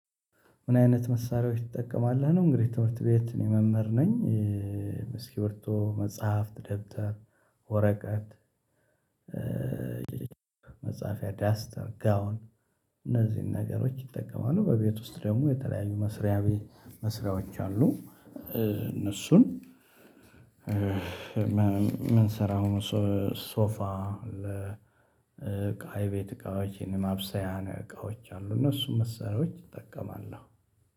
ምን አይነት መሳሪያዎች ትጠቀማለህ ነው? እንግዲህ ትምህርት ቤት እኔ መምህር ነኝ። እስክሪብቶ መጽሐፍ ደብተር ወረቀት። መጽሐፊያ ዳስተር ጋውን እነዚህን ነገሮች እጠቀማለሁ። በቤት ውስጥ ደግሞ የተለያዩ መስሪያ መሳሪያዎች አሉ። እነሱን ምን ስራ? ሶፋ ለ እቃ ቤት እቃዎች የማብሰያ እቃዎች አሉ እነሱን መሳሪያዎች እጠቀማለሁ።